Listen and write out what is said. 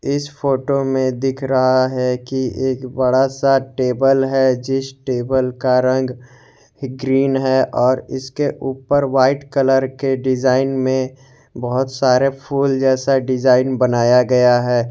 इस फोटो में दिख रहा है कि एक बड़ा सा टेबल है जिस टेबल का रंग ग्रीन है और इसके ऊपर व्हाइट कलर के डिजाइन में बहुत सारे फूल जैसा डिजाइन बनाया गया है।